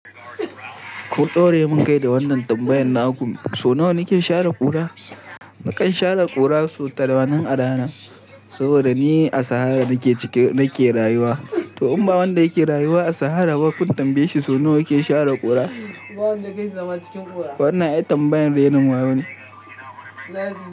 Ku ɗore mun kai da wannan tambayan na uku, so nawa nake share ƙura? Nakan share ƙura so tamanin a rana saboda ni a sahara nake rayuwa. To in ba wanda yake rayuwa a sahara ba kun tambaye shi so nawa yake share ƙura? Wannan ita tambayan rainon wawa ne.